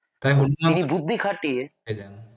বুদ্ধি খাটিয়ে